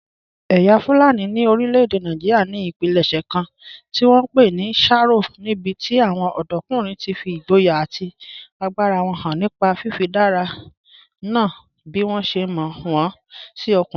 Ẹ̀yà Fulani ní orílẹ̀-èdè Nàìjíríà ní ìpilẹ̀ṣẹ̀ kan tí wọ́n ń pè ní sharo, níbi tí àwọn ọ̀dọ́kùnrin ti fi ìgboyà àti agbára wọn hàn nípa fífaradà nà án bí wọ́n ṣe mọ̀ wọ́n sí ọkùnrin.